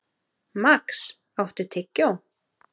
Max, áttu tyggjó?